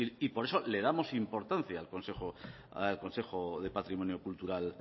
y por eso le damos importancia al consejo de patrimonio cultural